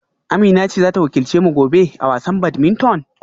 Amina ce za ta wakilce mu gobe a wasan badminton?